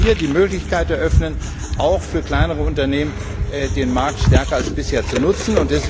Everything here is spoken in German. Wir wollen hier die Möglichkeit auch für kleinere Unternehmen eröffnen, den Markt stärker als bisher zu nutzen.